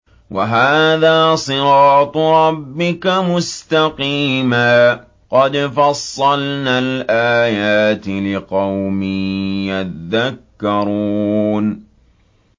وَهَٰذَا صِرَاطُ رَبِّكَ مُسْتَقِيمًا ۗ قَدْ فَصَّلْنَا الْآيَاتِ لِقَوْمٍ يَذَّكَّرُونَ